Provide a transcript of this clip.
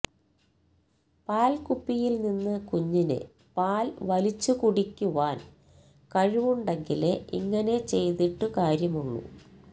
പാല്ക്കുപ്പിയില് നിന്ന് കുഞ്ഞിന് പാല് വലിച്ചുകുടിയ്്ക്കുവാന് കഴിവുണ്ടെങ്കിലേ ഇങ്ങിനെ ചെയ്തിട്ട് കാര്യമുള്ളൂ